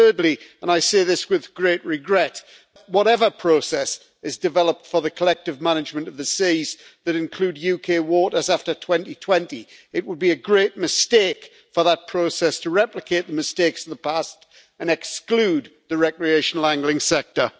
And thirdly and I say this with great regret whatever process is developed for the collective management of the seas that include UK waters after 2020, it would be a great mistake for that process to replicate the mistakes of the past and exclude the recreational angling sector.